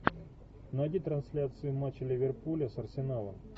найди трансляцию матча ливерпуля с арсеналом